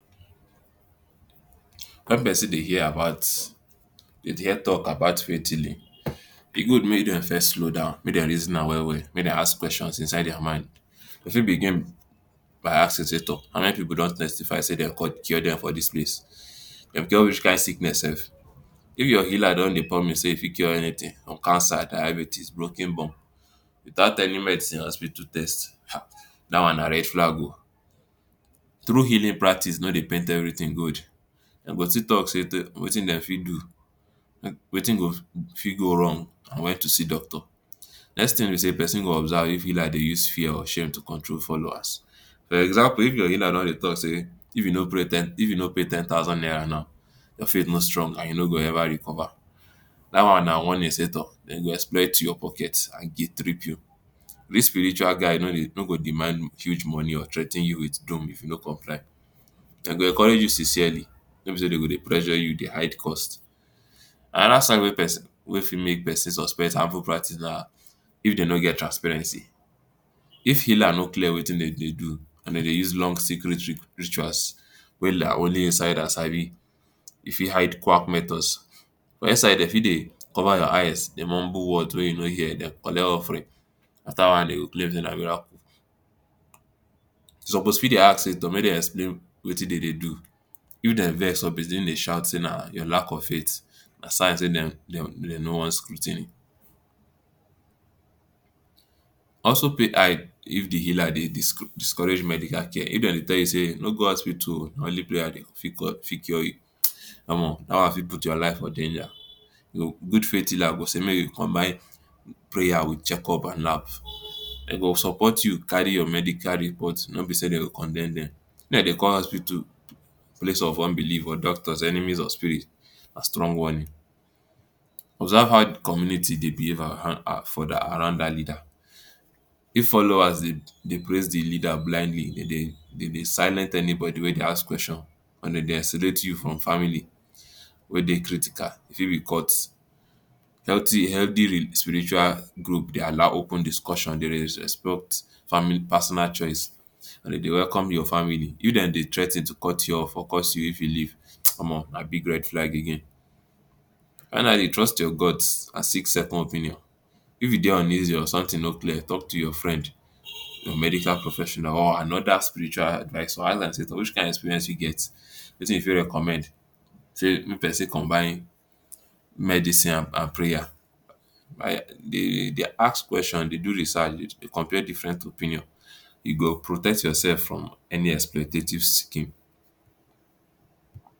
Wen pesin de hear about, de hear tok about faith healing e good make dem first slow down, make dem reason am well well, make dem ask questions inside their mind. E fit begin by asking say[um] ‘’How many pipul don testify say dem cure dem for dis place? Dem cure which kind sickness sef? If your healer don dey promise sey e fit cure anything cancer, diabetes, brokin bone, without any medicine or to do test, um dat one na red flag o. True healing practice no dey paint everything good. Dem go still tok sey wetin dem fit do, wetin go fit go wrong, and wen to see doctor. Next tin be sey pesin go observe if healer dey use your shame to control followers. For example, if your healer no dey tok sey if you no, if you no pay ten thousand naira, your faith no strong and you no go ever recover. Dat one na warning sey toh, dem go exploit you, your pocket, and guilt-trip you. Real spiritual guide no go demand money, or threa ten you wit doom if you no comply .Dem go encourage you sincerely, no be sey dem go dey pressure you, dey hide cost. Anoda side wey pesi-, wey fit make pesin suspect harmful practice nah if dem no get transparency if healer no clear wetin dem dey do, dey dey use long secret rituals wey na only insider sabi, e fit quack methods for inside dey fi dey cover your eyes, dey mumble words wey you no hear dem, collect offering After, de go claim sey na miracle. You suppose fit dey ask sey um, make dem explain wetin dem dey do. If dem vex begin to shout sey na your lack of faith, na sign sey dem dem no want scrutiny. Also pay eye if di healer dey dis-, discourage to do medical care. If dem dey tell you sey: ‘’No go hospital um, na only prayer go fit um, fit cure,, fit cure you. Omo, dat one fit put your life for danger. Good faith healer go sey make you combine prayer wit checkup and herb. Dem go support you carry your medical report – no be sey dem go condemn dem. Hospital place of unbelieve or doctors enemies of spirit, na strong warning. Observe how di community dey behave for um around da leader If followers dey dey praise di leader blindly, de de de de silent anybody wey dey ask question, and dey isolate you from family, wey dey critical e fi Healthy spiritual group dey allow open discussion. family personal choice welcome your family, if dem dey threa ten to cut you off or curse you if you leave,[um] nah big red flag again. dey trust ur guts and sixth second if you dey uneasy or sometin no clear talk to ur friend ur medical professional or anoda spiritual advisor wic kin experience you get, wetin e fi recommend say may persin combine medicine and prayer dey ask question, dey do research, dey compare different opinion e go protect yourself from any